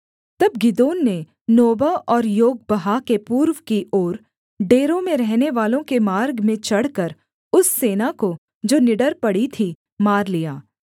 तब गिदोन ने नोबह और योगबहा के पूर्व की ओर डेरों में रहनेवालों के मार्ग में चढ़कर उस सेना को जो निडर पड़ी थी मार लिया